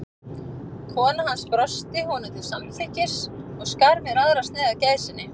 Kona hans brosti honum til samþykkis og skar mér aðra sneið af gæsinni.